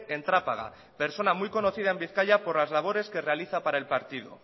en trápaga persona muy conocida en bizkaia por las labores que realiza para el partido